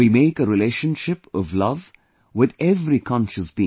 We make a relationship of love with every conscious being